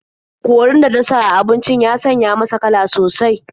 Korin da ta sa a abincin ya sanya masa kala sosai.